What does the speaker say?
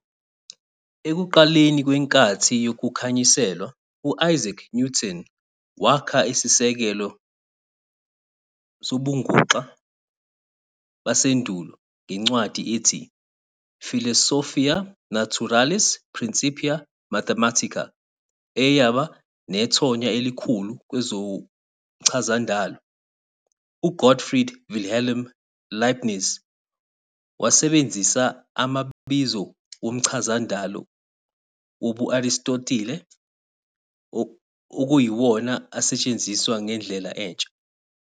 Ekuqaleni kwenkathi yokukhanyiselwa, uIsaac Newton wakha isisekelo sobunguxa basendulo ngencwadi ethi "Philosophiae Naturalis Principia Mathematica", eyaba nethonya elikhulu kwezomchazandalo. U-Gottfried Wilhelm Leibniz wasebenzisa amabizo womchazandalo wobu-Aristotile, okuyiwona asetshenziswa ngendlela entsha.